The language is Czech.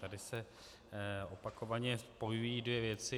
Tady se opakovaně spojují dvě věci.